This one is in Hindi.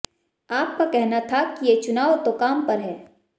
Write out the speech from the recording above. आप का कहना था कि ये चुनाव तो काम पर है